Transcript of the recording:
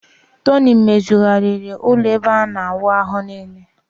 Tony mezighariiri ulo ebe ana awu ahu nile